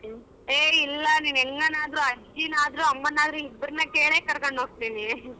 ಹೆ ಇಲ್ಲ ನಿನ್ ಎಂಗನಾದ್ರೂ ಅಜ್ಜಿನಾದ್ರೂ ಅಮ್ಮನಾದ್ರೂ ಇಬ್ಬರನ ಕೇಳೆ ಕರಕೊಂಡಹೋಗ್ತೀನಿ .